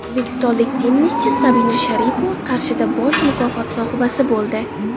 O‘zbekistonlik tennischi Sabina Sharipova Qarshida bosh mukofot sohibasi bo‘ldi.